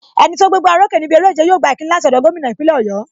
Enito gbé gbá o rókè níbi eré ìjẹ, yóò gba ìkíni láti ọ̀dọ̀ gómìnà ìpínlẹ̀ Oyo.